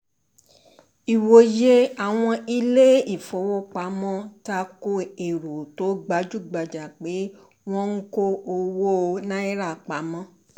Ìwòye àwọn ilé-ìfowópamọ́: Tako èrò tó gabjúgbajà pé wọ́n ń kó owó náírà pamọ́